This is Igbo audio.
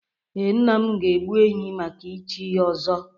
Ee, nna m ga-egbu ehi maka ichi ọzọ.